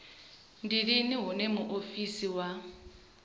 ndi lini hune muofisi wa